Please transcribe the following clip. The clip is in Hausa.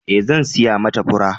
Ee, zan siyo mata fura.